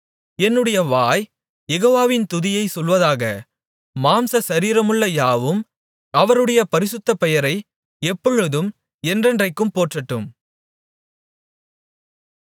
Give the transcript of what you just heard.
என்னுடைய வாய் யெகோவாவின் துதியைச் சொல்வதாக மாம்ச சரீரமுள்ள யாவும் அவருடைய பரிசுத்த பெயரை எப்பொழுதும் என்றென்றைக்கும் போற்றட்டும்